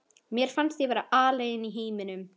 Mér fannst ég vera alein í heiminum.